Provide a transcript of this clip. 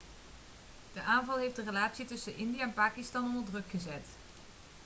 de aanval heeft de relatie tussen india en pakistan onder druk gezet